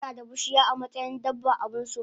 tanada bushiya amatsayin dabba abunso